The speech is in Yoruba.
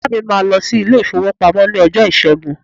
Ìyá mi máà lọ sí ilé-ìfowópamọ́ ní ọjọ́ Ìṣẹ́gun.